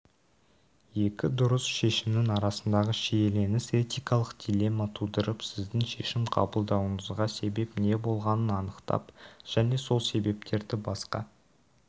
екі дұрыс шешімнің арасындағы шиеленіс этикалық дилемма тудырып сіздің шешім қабылдауыңызға себеп не болғанын анықтап және сол себептерді басқа